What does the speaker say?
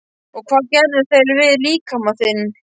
Og hvað gerðu þeir við líkama þinn?